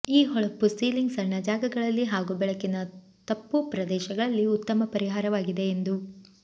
ಈ ಹೊಳಪು ಸೀಲಿಂಗ್ ಸಣ್ಣ ಜಾಗಗಳಲ್ಲಿ ಹಾಗೂ ಬೆಳಕಿನ ತಪ್ಪು ಪ್ರದೇಶಗಳಲ್ಲಿ ಉತ್ತಮ ಪರಿಹಾರವಾಗಿದೆ ಎಂದು